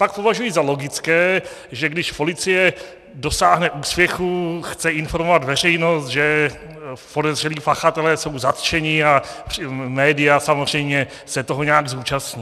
Pak považuji za logické, že když policie dosáhne úspěchu, chce informovat veřejnost, že podezřelí pachatelé jsou zatčeni, a média samozřejmě se toho nějak zúčastní.